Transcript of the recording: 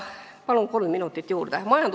Palun kolm minutit juurde!